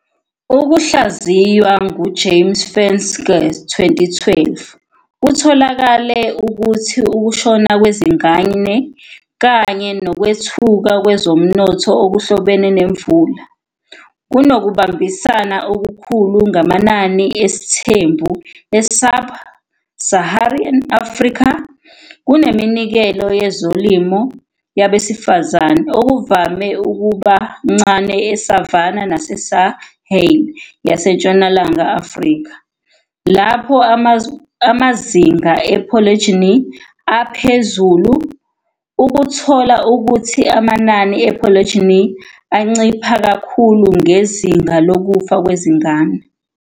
Ukuhlaziywa nguJames Fenske, 2012, kutholakale ukuthi ukushona kwezingane kanye nokwethuka kwezomnotho okuhlobene nemvelo kunokubambisana okukhulu namanani esithembu e-subsaharan Africa, kuneminikelo yezolimo yabesifazane, okuvame ukuba ncane eSavana naseSahel yaseNtshonalanga Afrika, lapho amazinga e-polygyny aphezulu, ukuthola ukuthi amanani e-polygyny ancipha kakhulu ngezinga lokufa kwezingane.